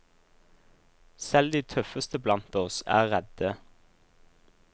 Selv de tøffeste blant oss er redde.